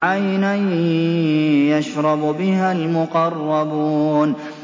عَيْنًا يَشْرَبُ بِهَا الْمُقَرَّبُونَ